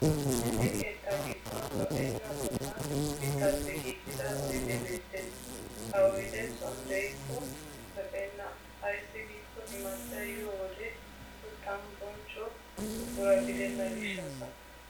Issi keettaa giddon lo'enna qottan mittaappe giigida oydee beettes. Ha oydee son de'ikko lo'enna ayssi giikko imattay yiyo wode uttan bonchcho buqura gidenna gishshaassa.